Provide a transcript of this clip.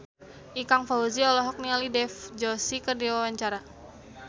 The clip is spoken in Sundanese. Ikang Fawzi olohok ningali Dev Joshi keur diwawancara